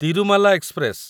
Tirumala express